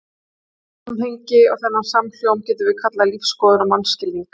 Þetta samhengi og þennan samhljóm getum við kallað lífsskoðun og mannskilning.